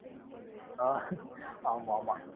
அஹ் ஆமா ஆமா.